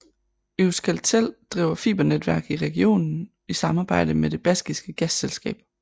Euskaltel driver fibernetværk i regionen i samarbejde med det baskiske gasselskab